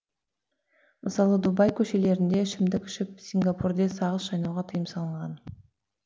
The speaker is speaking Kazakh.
мысалы дубай көшелерінде ішімдік ішіп сингапурде сағыз шайнауға тыйым салынған